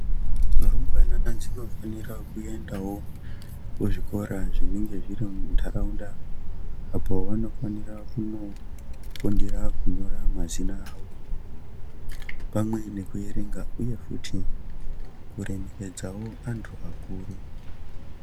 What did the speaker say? Rumbwana dzinofanira kuendawo kuzvikora zvinenge zvirintaraunda apo vanofanira kunofundira kunyora mazina avo pamwe nekuerenga uye futi kuremekedzawo antu akuru.